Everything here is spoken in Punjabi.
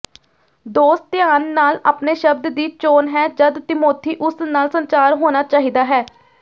ਦੋਸਤ ਧਿਆਨ ਨਾਲ ਆਪਣੇ ਸ਼ਬਦ ਦੀ ਚੋਣ ਹੈ ਜਦ ਤਿਮੋਥਿਉਸ ਨਾਲ ਸੰਚਾਰ ਹੋਣਾ ਚਾਹੀਦਾ ਹੈ